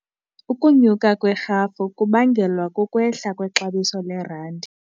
Ukunyuka kwerhafu kubangelwa kukwehla kwexabiso lerandi.